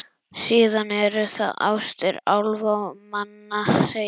Síðan eru það ástir álfa og manna, segi ég.